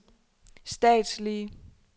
statslige